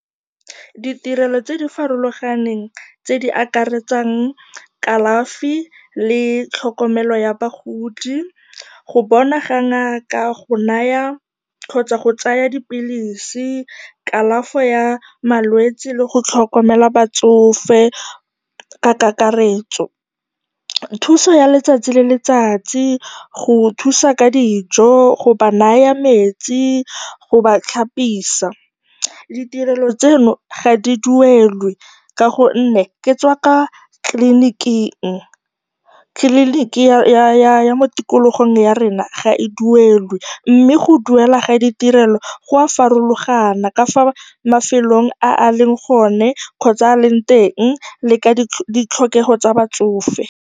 Ditirelo tse di farologaneng tse di akaretsang kalafi le tlhokomelo ya bagodi, go bona ga ngaka, go naya kgotsa go tsaya dipilisi, kalafo ya malwetsi le go tlhokomela batsofe ka kakaretso. Thuso ya letsatsi le letsatsi, go thusa ka dijo, go ba naya metsi, go ba tlhapisa. Ditirelo tseno ga di duelwe ka gonne ke tsa kwa tleliniking. Tleliniki ya mo tikologong ya rona ga e duelwe mme go duela ga ditirelo go a farologana ka fa mafelong a a leng gone kgotsa a a leng teng, le ka ditlhokego tsa batsofe.